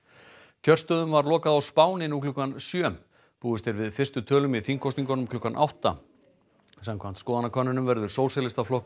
kjörstöðum var lokað á Spáni nú klukkan sjö búist er við fyrstu tölum í þingkosningunum um klukkan átta samkvæmt skoðanakönnunum verður Sósíalistaflokkur